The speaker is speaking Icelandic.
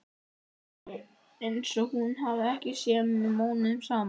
Einsog hún hafi ekki séð mig mánuðum saman.